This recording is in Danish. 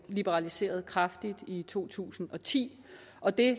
liberaliseret kraftigt i to tusind og ti og det